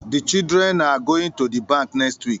The children are goinfg to the bank next week